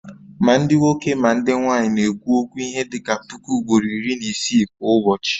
Ma ndị nwoke ma ndị nwanyị na-ekwu okwu ihe dị ka puku ugboro iri na isii kwa ụbọchị